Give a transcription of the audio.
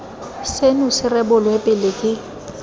seno se rebolwe pele ke